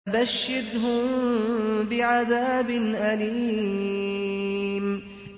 فَبَشِّرْهُم بِعَذَابٍ أَلِيمٍ